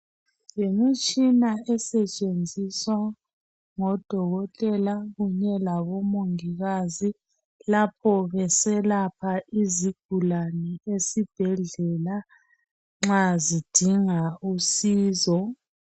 Yimitshina esetshenziswa ngodokotela kunye labomongikazi lapho beselapha izigulani esibhedlela nxa zidinga usizo.